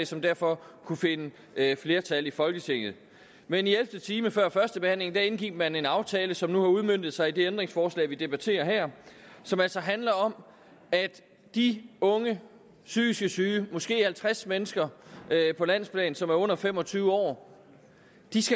som derfor kunne finde flertal i folketinget men i ellevte time før førstebehandlingen indgik man en aftale som nu har udmøntet sig i det ændringsforslag vi debatterer her som altså handler om at de unge psykisk syge måske halvtreds mennesker på landsplan som er under fem og tyve år